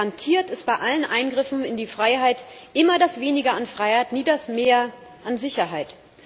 Garantiert ist bei allen Eingriffen in die Freiheit immer das Weniger an Freiheit, nie das Mehr an Sicherheit.